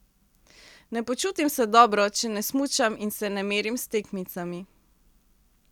Ne počutim se dobro, če ne smučam in se ne merim s tekmicami.